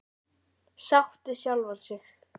Sátt við sjálfa sig.